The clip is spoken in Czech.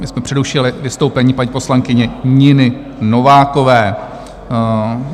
My jsme přerušili vystoupení paní poslankyně Niny Novákové.